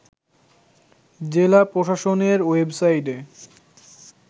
জেলা প্রশাসনের ওয়েবসাইটে